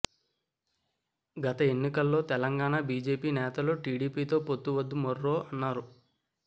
గత ఎన్నికల్లో తెలంగాణ బిజెపి నేతలు టిడిపితో పొత్తు వద్దు మొర్రో అన్నారు